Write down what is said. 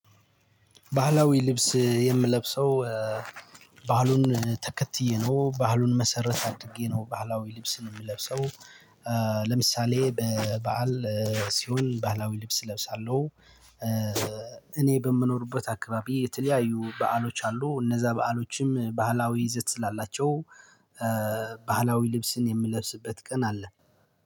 ባህላዊ ልብስ የምለብሰው ባህሉን ተከትዬ ነው ባህሉን መሰረት አድርጌ ነው ባህላዊ ልብስን የምለብሰው ለምሳሌ በበዓል ሲሆን ባህላዊ ልብስ እለብሳለሁ። እኔ በምኖርበት አካባቢ የተለያዩ በዓሎች አሉ። እነዛ በዓሎችም ባህላዊ ይዘት ስላላቸው ባህላዊ ልብስን የምለብስበት ቀን አለ።